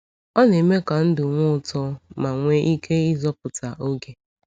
Ọ na-eme ka ndụ nwee ụtọ ma nwee ike ịzọpụta oge.